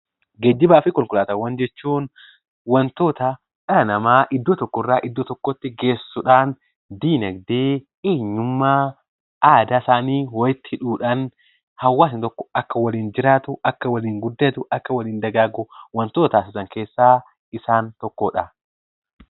Geejjiba fi konkolaatawwaan jechuun wantoota dhala nama iddoo tokkorra, iddoo tokkotti geessuudhan dinagde, heeyyummaa aadaa isaani walitti hidhuudhan hawaasa tokko akka waliin jiraatu, akka waliin guddattu, akka waliin dagagu wantoota jiran keessa isaan tokkodha.